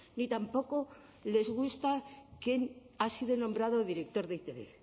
ni tampoco les gusta que ha sido nombrado director de e i te be